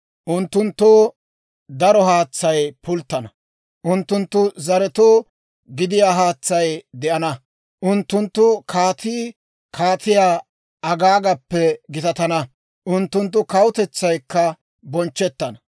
Unttunttoo daro haatsay pulttana; unttunttu zaretoo gidiyaa haatsay de'ana. Unttunttu kaatii Kaatiyaa Agaagappe gitatana; unttunttu kawutetsaykka bonchchettana.